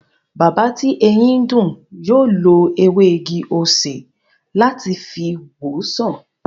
Bàbá tí eyín ń dùn, yóò lo ewé igi-osè láti fi wo sàn